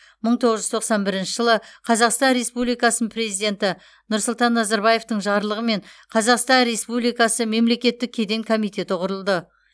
мың тоғыз жүз тоқсан бірінші жылы қазақстан республикасы президенті нұрсұлтан назарбаевтың жарлығымен қазақстан республикасы мемлекеттік кеден комитеті құрылды